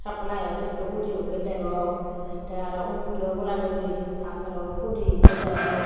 suplyo sekkey hudi dokkey degong tey undi obolandi guri pakka hudi ekko degong.